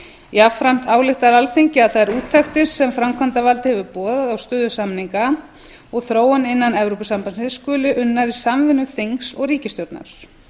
jafnframt ályktar alþingi að þær úttektir sem framkvæmdarvaldið hefur boðað á stöðu samninga og þróun innan evrópusambandsins skuli unnar í samvinnu þings og ríkisstjórnar